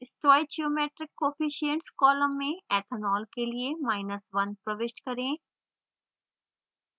stoichiometric coefficients column में ethanol के लिए1 प्रविष्ट करें